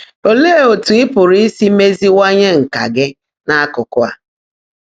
Óleé ótú ị́ pụ́rụ́ ísi méziíwányé nkà gị́ n’ákụ́kụ́ á?